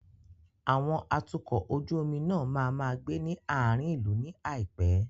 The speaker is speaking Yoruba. Àwọn atukọ̀ ojú omi náà máa máa gbé ní àárín ìlú ní àìpé.